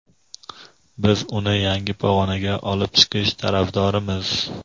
biz uni yangi pog‘onaga olib chiqish tarafdorimiz.